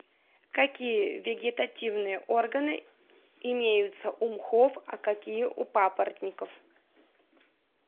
какие вегетативные органы имеются у мхов а какие у папоротников